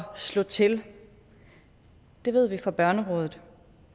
slå til det ved vi fra børnerådet